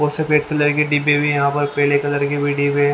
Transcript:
और सफेद कलर के डिब्बे भी यहाँ पर पेले कलर के भी डिब्बे ह--